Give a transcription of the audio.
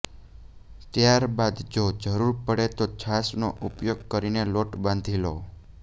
ત્યાર બાદ જો જરૂર પડે તો છાશનો ઉપયોગ કરીને લોટ બાંધી લો